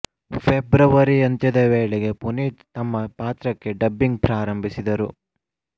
February ಅಂತ್ಯದ ವೇಳೆಗೆ ಪುನೀತ್ ತಮ್ಮ ಪಾತ್ರಕ್ಕೆ ಡಬ್ಬಿಂಗ್ ಪ್ರಾರಂಭಿಸಿದರು